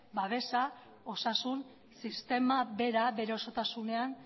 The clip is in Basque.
babesa osasun sistema bera bere osotasunean